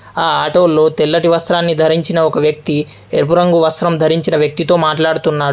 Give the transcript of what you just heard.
ఆ ఆటో లో తెల్లటి వస్త్రాన్ని ధరించిన ఒక వ్యక్తి ఎరుపు రంగు వస్త్రం ధరించిన వ్యక్తితో మాట్లాడుతున్నాడు.